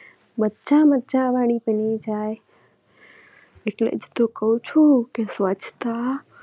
મજા મજા વાળી બની જાય એટલે જ તો કહું છું કે સ્વચ્છતા